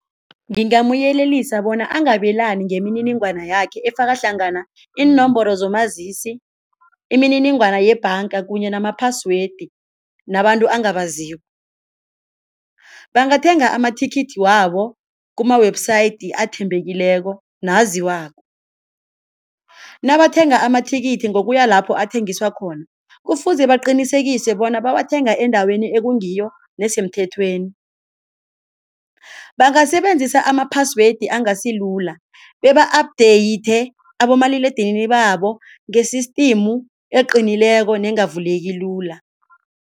Ngingamyelelisa bona angabelani ngemininingwane yakhe efaka hlangana iinomboro zomazisi, imininingwana yebhanga kunye nama-password nabantu ongabaziko. Bangathenga amathikithi wabo kuma-website athembekileko naziwako, nabathenga amathikithi ngokuya lapho athengiswa khona kufuze baqinisekise bona bawathenga endaweni ekungiyo nesemthethweni. Bangasebenzisa ama-password angasilula beba-update abomaliledinini babo nge-system eqinileko nengavuleki lula.